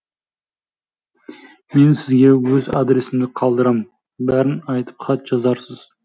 мен сізге өз адресімді қалдырам бәрін айтып хат жазарсыз